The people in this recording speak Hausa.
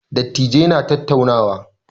Dattijai na tattaunawa.